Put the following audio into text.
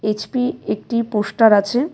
HP একটি poster আছে.